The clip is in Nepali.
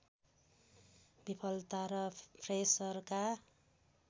विफलता र फ्रेसरका